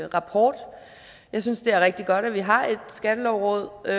rapport jeg synes det er rigtig godt at vi har et skattelovråd og